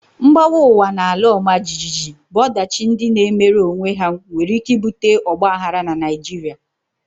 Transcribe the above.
Mgbawa ugwu na ala ọmajiji bụ ọdachi ndị na-emere onwe ha nwere ike ibute Ọgba aghara na Naịjirịa